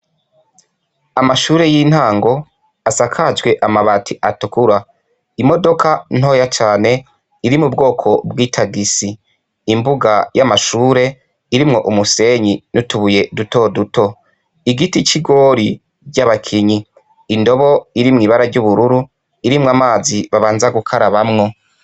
Amashure y' intango asakajwe amabati atukura , imodoka ntoya cane iri mu bwoko bw'itagisi, imbuga y' amashure irimwo umusenyi n' abbaye duto duto. Igiti c' igoro ry' abakinyi, indobo iri mw'ibara ry' ubururu, irimwo amazi babanza gukarabamwo.